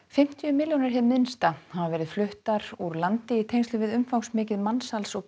fimmtíu milljónir króna hið minnsta hafa verið fluttar úr landi í tengslum við umfangsmikið mansals og